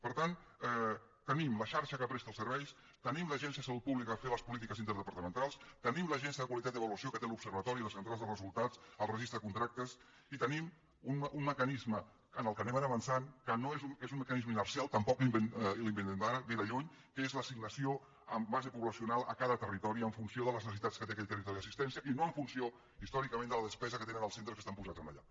per tant tenim la xarxa que presta els serveis tenim l’agència de salut pública per fer les polítiques interdepartamentals tenim l’agència de qualitat i avaluació que té l’observatori les centrals de resultats el registre de contractes i tenim un mecanisme en el qual anem ara avançant que és un mecanisme inercial tampoc l’inventem ara ve de lluny que és l’assignació amb base poblacional a cada territori en funció de les necessitats que té aquell territori d’assistència i no en funció històricament de la despesa que tenen els centres que estan posats allà